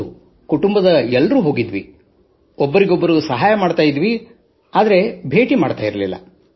ಹೌದು ಸಂಪೂರ್ಣ ಕುಟುಂಬದವರು ಹೋಗಿದ್ದೆವು ಒಬ್ಬೊರಿಗೊಬ್ಬರು ನೆರವಾಗಿದ್ದೆವು ಆದರೆ ಭೇಟಿ ಮಾಡುತ್ತಿರಲಿಲ್ಲ